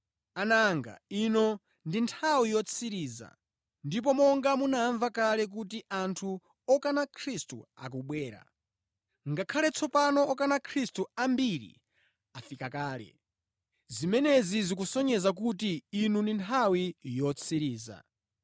Ana anga, ino ndi nthawi yotsiriza, ndipo monga munamva kale kuti anthu okana Khristu akubwera, ngakhale tsopano okana Khristu ambiri afika kale. Zimenezi zikutisonyeza kuti ino ndi nthawi yotsiriza.